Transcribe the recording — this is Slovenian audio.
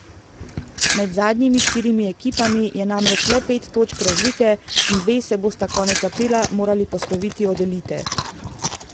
Med zadnjimi štirimi ekipami je namreč le pet točk razlike in dve se bosta konec aprila morali posloviti od elite.